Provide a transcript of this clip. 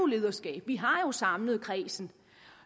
lederskab vi har jo samlet kredsen